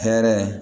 Hɛrɛ